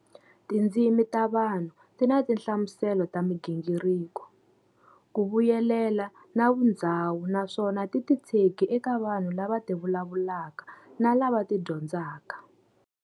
Tindzimi ta vanhu tina tinhlamuselo ta migingiriko, kuvuyelela na vundhzawu naswona ti titshege eka vanhu lava tivulavulaka na lava ti dyondzaka.